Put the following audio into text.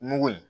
Mugu in